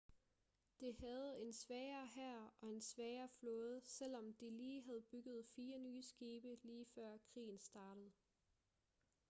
det havde en svagere hær og en svagere flåde selvom de lige havde bygget fire nye skibe lige før krigen startede